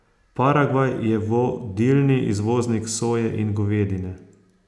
Paragvaj je vodilni izvoznik soje in govedine.